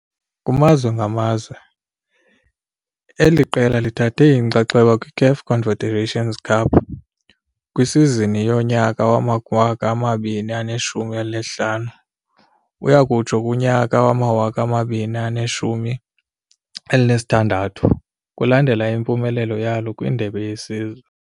Kumazwe ngamazwe, eli qela lithathe inxaxheba kwiCAF Confederation Cup kwisizini yonyaka wama-2015 uyakutsho kunyaka wama-2016 kulandela impumelelo yalo kwindebe yesizwe.